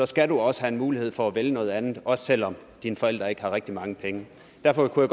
skal du også have mulighed for at vælge noget andet også selv om dine forældre ikke har rigtig mange penge derfor kunne